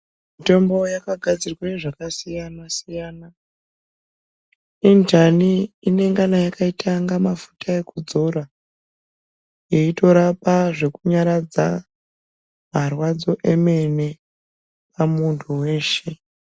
Mitombo yakagadzirwa zvakasiyana siyana yenjani inoita kunge mafuta ekudzora eitorapa zvekunyaradza marwadzo emene emuntu weshe.